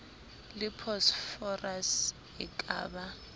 le phosphorus e ka ba